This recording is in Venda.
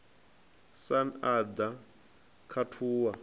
sun a ḓa a khathuwa